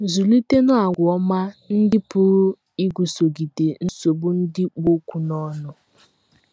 Zụlitenụ àgwà ọma ndị pụrụ iguzogide nsogbu ndị kpụ ọkụ n’ọnụ